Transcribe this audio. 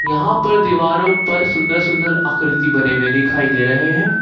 यहां पर दीवारों पर सुंदर सुंदर आकृति बने हुए दिखाई दे रहे हैं।